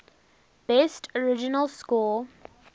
best original score